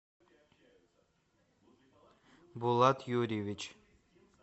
булат юрьевич